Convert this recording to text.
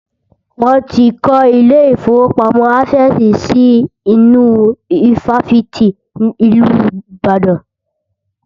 Wọ́n ti kọ́ ilé ìfọwọ́pamo Access si inú ifáfitì ìlú Ìbàdàn.